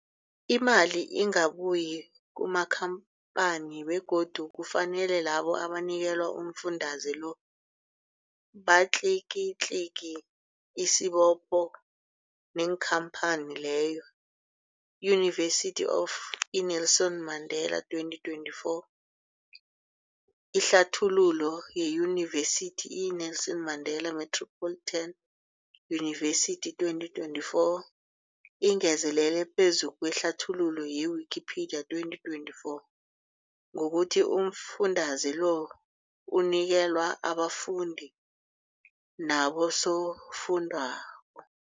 Imali ingabuyi kumakhamphani begodu kufanele labo abanikelwa umfundaze lo batlikitliki isibopho neenkhamphani leyo, Yunivesity of i-Nelson Mandela 2024. Ihlathululo yeYunivesithi i-Nelson Mandela Metropolitan University, 2024, ingezelele phezu kwehlathululo ye-Wikipedia, 2024, ngokuthi umfundaze lo unikelwa abafundi nabosofundwakgho.